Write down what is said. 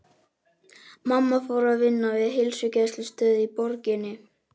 Mamma fór að vinna við heilsugæslustöð í borginni.